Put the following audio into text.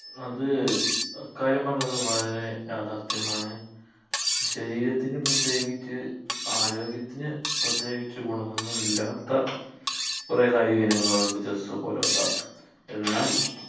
അത് അ കാര്യം പറഞ്ഞത് വളരെ യാഥാർഥ്യമാണ് ശരീരത്തിന് പ്രത്യേകിച്ച് ആരോഗ്യത്തിന് പ്രത്യേകിച്ച് ഗുണം ഒന്നുമില്ലാത്ത കുറേ കായിക ഇനങ്ങളുണ്ട് chess പോലോത്ത എന്നാൽ